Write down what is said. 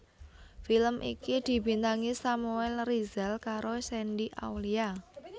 Film iki dibintangi Samuel Rizal karo Shandy Aulia